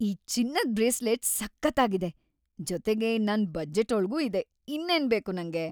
ಈ ಚಿನ್ನದ್ ಬ್ರೇಸ್ಲೆಟ್ ಸಖತ್ತಾಗಿದೆ, ಜೊತೆಗೆ ನನ್ ಬಜೆಟ್ಟೊಳ್ಗೂ ಇದೆ, ಇನ್ನೇನ್‌ ಬೇಕು ನಂಗೆ!